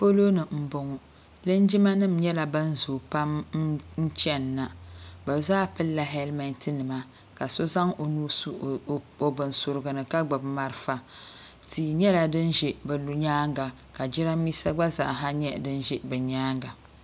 Poloni boŋɔ linjima nima nyɛla ban zoo pam n chenna bɛ zaa pillila helimenti nima ka so zaŋ o nuu n su o bin surigu ni ka gbibi marafa tia nyɛla din ʒɛ bɛ nyaanga ka jirambisa gba zaaha nyɛ din ʒɛ bɛ nyaanga.